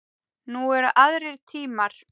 Nú eru aðrir tímar.